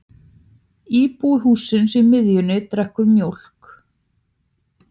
Íbúi hússins í miðjunni drekkur mjólk.